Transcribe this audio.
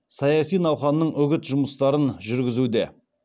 саяси науқанның үгін жұмыстарын жүргізуде